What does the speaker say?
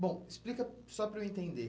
Bom, explica só para eu entender.